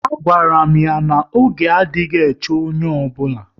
A gwara m ya na oge adịghị eche mmadụ